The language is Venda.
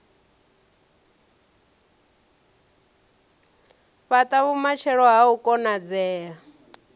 fhata vhumatshelo ha u konadzea